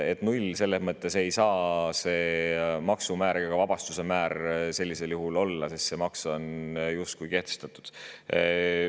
Null ei saa see maksumäär ega vabastuse määr sellisel juhul olla, kui see maks on kehtestatud.